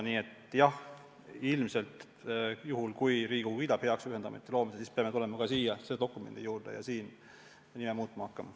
Nii et jah, kui Riigikogu kiidab heaks ühendameti loomise, siis peame selle dokumendi juurde tagasi tulema ja seda muutma hakkama.